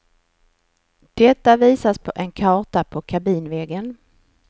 Detta visas på en karta på kabinväggen.